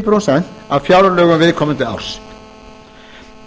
prósent af fjárlögum viðkomandi árs